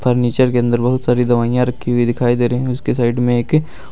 furniture के अंदर बहुत सारी दवाइयां रखी हुई दिखाई दे रही है उसके साइड में एक--